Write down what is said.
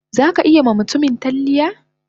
Zaka iya ma mutumin talliya?